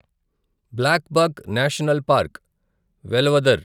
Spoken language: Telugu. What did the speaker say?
blackbuck national park, Velavadar